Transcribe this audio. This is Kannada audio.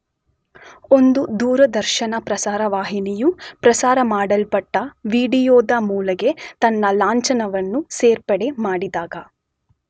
ಒಂದು ದೂರದರ್ಶನ ಪ್ರಸಾರ ವಾಹಿನಿಯು ಪ್ರಸಾರಮಾಡಲ್ಪಟ್ಟ ವಿಡಿಯೋದ ಮೂಲೆಗೆ ತನ್ನ ಲಾಂಛನವನ್ನು ಸೇರ್ಪಡೆ ಮಾಡಿದಾಗ